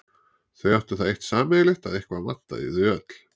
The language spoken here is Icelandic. Þau áttu það eitt sameiginlegt að eitthvað vantaði í þau öll.